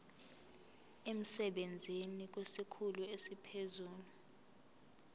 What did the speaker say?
emsebenzini kwesikhulu esiphezulu